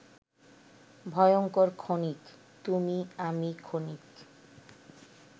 ভয়ঙ্কর ক্ষণিক,-তুমি আমি ক্ষণিক